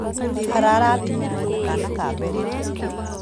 ararathimirwo na kana ka mbere